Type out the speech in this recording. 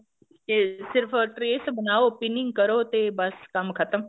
ਤੇ ਸਿਰਫ trace ਬਣਾਓ pinning ਕਰੋ ਤੇ ਬੱਸ ਕੰਮ ਖਤਮ